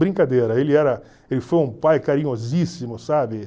Brincadeira, ele era ele foi um pai carinhosíssimo, sabe?